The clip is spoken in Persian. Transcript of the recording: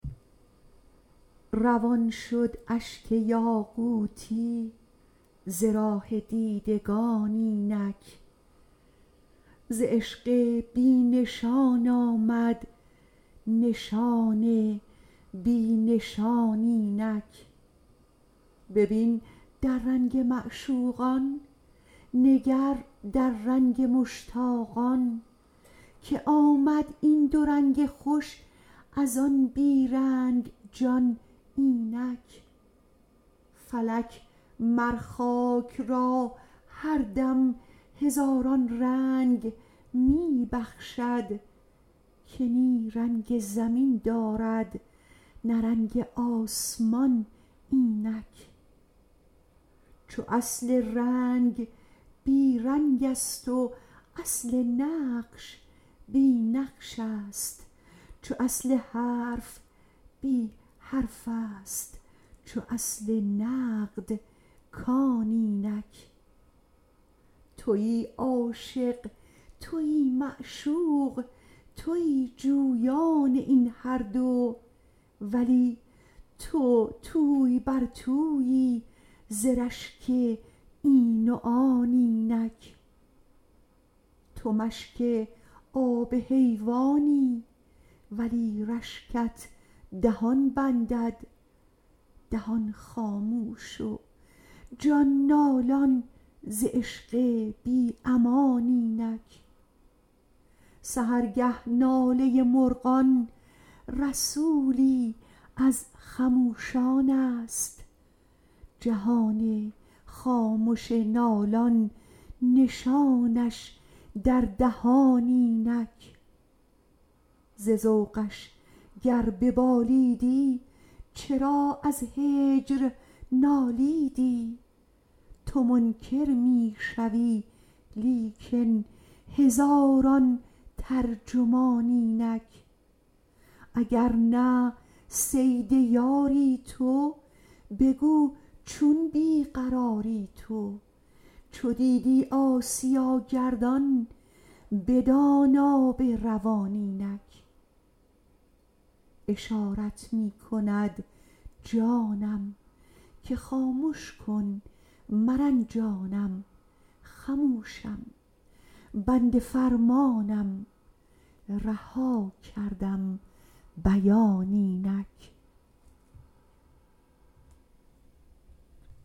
روان شد اشک یاقوتی ز راه دیدگان اینک ز عشق بی نشان آمد نشان بی نشان اینک ببین در رنگ معشوقان نگر در رنگ مشتاقان که آمد این دو رنگ خوش از آن بی رنگ جان اینک فلک مر خاک را هر دم هزاران رنگ می بخشد که نی رنگ زمین دارد نه رنگ آسمان اینک چو اصل رنگ بی رنگست و اصل نقش بی نقشست چو اصل حرف بی حرفست چو اصل نقد کان اینک توی عاشق توی معشوق توی جویان این هر دو ولی تو توی بر تویی ز رشک این و آن اینک تو مشک آب حیوانی ولی رشکت دهان بندد دهان خاموش و جان نالان ز عشق بی امان اینک سحرگه ناله مرغان رسولی از خموشانست جهان خامش نالان نشانش در دهان اینک ز ذوقش گر ببالیدی چرا از هجر نالیدی تو منکر می شوی لیکن هزاران ترجمان اینک اگر نه صید یاری تو بگو چون بی قراری تو چو دیدی آسیا گردان بدان آب روان اینک اشارت می کند جانم که خامش که مرنجانم خموشم بنده فرمانم رها کردم بیان اینک